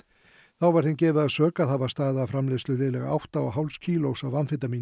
þá var þeim gefið að sök að hafa staðið að framleiðslu liðlega átta og hálfs kílós af amfetamíni